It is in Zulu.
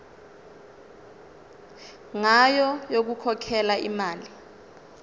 ngayo yokukhokhela imali